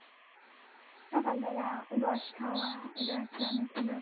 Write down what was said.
সকাল বেলা রস খাওয়া এটাও একটা অনেক অন্যরকম